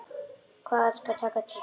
Hvað skal taka til bragðs?